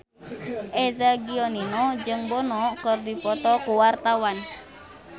Eza Gionino jeung Bono keur dipoto ku wartawan